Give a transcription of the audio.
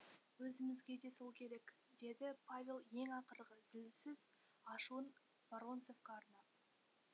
өзімізге де сол керек деді павел ең ақырғы зілсіз ашуын воронцовқа арнап